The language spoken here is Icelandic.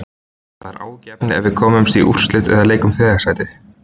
Það er áhyggjuefni ef við komumst í úrslit eða í leik um þriðja sætið.